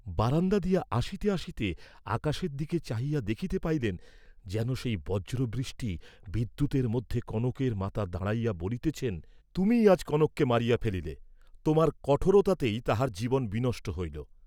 বারাণ্ডা দিয়া আসিতে আসিতে আকাশের দিকে চাহিয়া দেখিতে পাইলেন, যেন সেই বজ্র বৃষ্টি বিদ্যুতের মধ্যে কনকের মাতা দাঁড়াইয়া বলিতেছেন তুমিই আজ কনককে মারিয়া ফেলিলে, তোমার কঠোরতাতেই তাহার জীবন বিনষ্ট হইল।